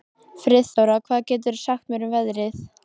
Friðþóra, hvað geturðu sagt mér um veðrið?